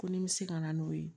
Ko ni n bɛ se ka na n'o ye